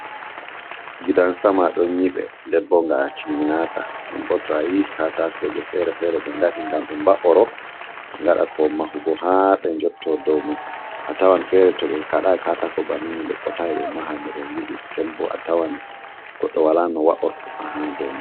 Gidansama ɗon nyiɓee, nden boo nga timminaaka, nden boo to ayi katakojii fere-fere ɓe ngadi ngam ɓe mba'oro, be ngaɗa ko mahugoo haa ɓe njotto dow mai, attawan fere to ɓe gadai katako bannin ɓe potai ɓe mahaa noo ɓe ngiɗi, dembo attawan goɗdo o wala no wa'oro mahaa dou mai.